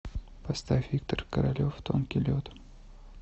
поставь виктор королев тонкий лед